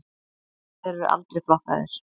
Þeir eru aldrei flokkaðir.